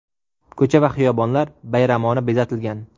Ko‘cha va xiyobonlar bayramona bezatilgan.